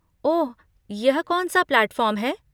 ओह, यह कौन सा प्लैटफॉर्म है?